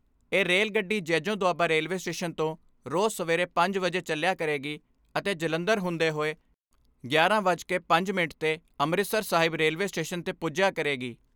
ਇਹ ਰੇਲ ਗੱਡੀ Jejon Doaba railway station ਤੋਂ ਰੋਜ਼ ਸਵੇਰੇ ਪੰਜ ਵਜੇ ਚੱਲਿਆ ਕਰੇਗੀ ਅਤੇ ਜਲੰਧਰ ਹੁੰਦੇ ਹੋਏ ਗਿਆਰਾਂ ਵੱਜ ਕੇ ਪੰਜਾਹ ਮਿੰਟ ਤੇ ਅੰਮ੍ਰਿਤਸਰ ਸਾਹਿਬ ਰੇਲਵੇ ਸਟੇਸ਼ਨ ਤੇ ਪੁੱਜਿਆ ਕਰੇਗੀ।